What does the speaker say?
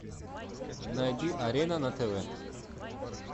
найди арена на тв